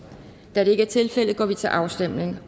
da det ikke er tilfældet går vi til afstemning